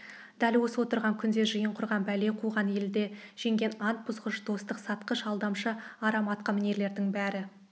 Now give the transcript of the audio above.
дәл осы отырған күнде жиын құрған бәле қуған елді жеген ант бұзғыш достық сатқыш алдамшы арам атқамінерлердің бәрін